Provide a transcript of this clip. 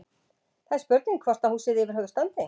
Það er spurning hvort að húsið yfir höfuð standi?